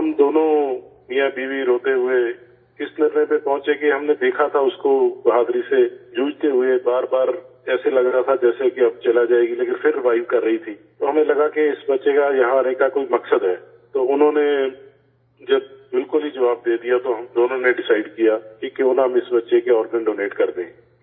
تو ہم دونوں میاں بیوی روتے ہوئے اس فیصلہ پر پہنچے کہ ہم نے دیکھا تھا اس کو بہادری سے لڑتے ہوئے، بار بار ایسا لگ رہا تھا جیسے اب چلی جائے گی، لیکن پھر ریوائیو کر رہی تھی تو ہمیں لگاکہ اس بچے کا یہاں آنے کا کوئی مقصد ہے، تو انہوں نے جب بالکل ہی جواب دے دیا تو ہم دونوں نے ڈیسائڈ کیا کہ کیوں نہ ہم اس بچے کے آرگن ڈونیٹ کر دیں